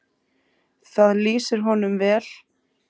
Það lýsir honum vel.